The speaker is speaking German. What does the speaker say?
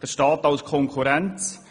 Der Staat als Konkurrenz.